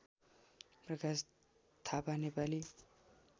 Prakash Thapa Nepali